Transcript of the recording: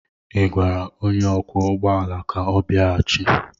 Ị gwara onye ọkwọ ụgbọ ala ka ọ bịaghachi?